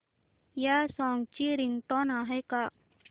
या सॉन्ग ची रिंगटोन आहे का